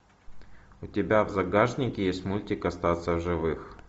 у тебя в загашнике есть мультик остаться в живых